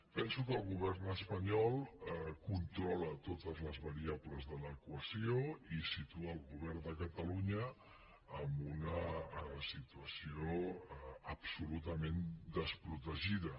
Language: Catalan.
penso que el govern espanyol controla totes les variables de l’equació i situa el govern de catalunya en una situació absolutament desprotegida